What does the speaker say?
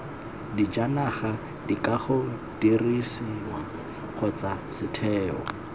dijanaga dikago didirisiwa kgotsa setheo